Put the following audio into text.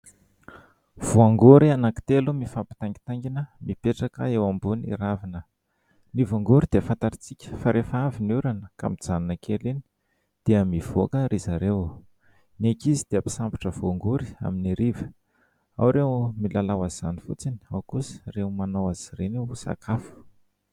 Voangory anankitelo mifampitaingintaingina mipetraka eo ambony ravina. Ny voangory dia fantatrintsika fa rehefa avy ny orana ka mjanona kely eny dia mivoaka ry zareo. Ny ankizy dia mpisambotra voangory amin'ny hariva, ao ireo milalao azy izany fotsiny, ao kosa ireo manao azy ireny ho sakafo.